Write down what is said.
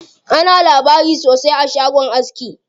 Ana labari sosai a shagon aski.